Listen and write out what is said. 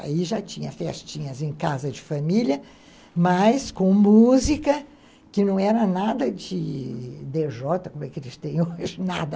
Aí já tinha festinhas em casa de família, mas com música que não era nada de dê jota, como é que eles têm hoje, nada.